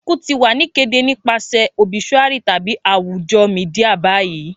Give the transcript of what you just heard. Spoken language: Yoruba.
Iku ti wa ni kede nipasẹ obisuari tabi awujo media bayi.